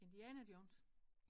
Indiana Jones